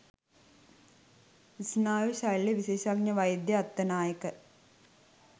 ස්නායු ශල්‍යවිශේෂඥ වෛද්‍ය අත්තනායක